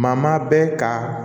Maa maa bɛ ka